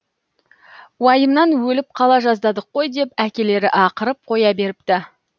уайымнан өліп қала жаздадық қой деп әкелері ақырып қоя беріпті